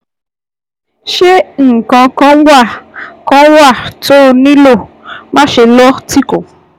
Ṣé nǹkan kan wà kan wà tó o nílò? Máṣe lọ́ tìkọ̀